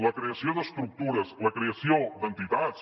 la creació d’estructures la creació d’entitats